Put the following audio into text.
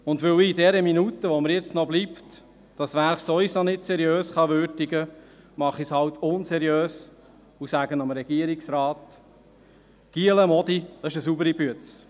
Weil ich in der Minute, die mir noch bleibt, dieses Werk sowieso nicht seriös würdigen kann, mache ich es halt unseriös und sage dem Regierungsrat: Jungs, Mädels, das ist saubere Arbeit.